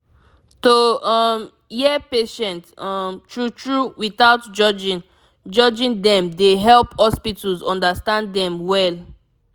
to um hear patient um true true without judging judging dem dey help hospitals understand dem well